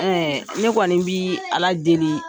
ne kɔni bɛ ala deeli